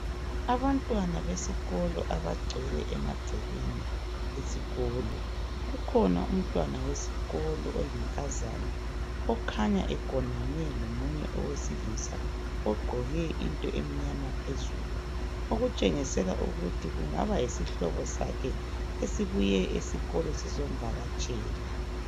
Abantwana besikolo abagcwele emagcekeni esikolo kukhona umntwana wesikolo oyinkazana okhanya egonane lomunye owesilisa ogqoke into emnyama phezulu okutshengisela ukuthi kungaba yisihloba sakhe esibuye esikolo sizomvakatshela